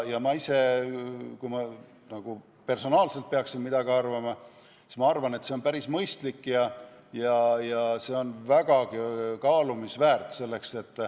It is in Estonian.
Kui ma personaalselt peaksin midagi arvama, siis ma arvan, et see on päris mõistlik ja vägagi kaalumist väärt.